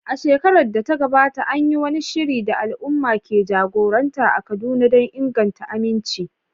A shekarar da ta gabata, an yi wani shiri da al’umma ke jagoranta a Kaduna don inganta aminci.